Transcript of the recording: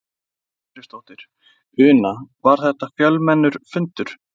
Edda Andrésdóttir: Una, var þetta fjölmennur fundur?